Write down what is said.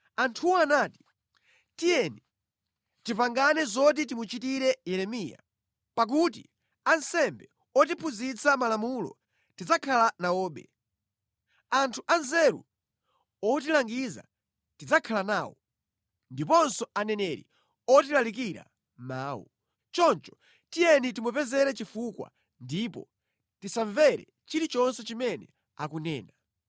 Anthuwo anati, “Tiyeni, tipangane zoti timuchitire Yeremiya; pakuti ansembe otiphunzitsa malamulo tidzakhala nawobe. Anthu anzeru otilangiza tidzakhala nawo, ndiponso aneneri otilalikira mawu. Choncho tiyeni timupezere chifukwa ndipo tisamvere chilichonse chimene akunena.”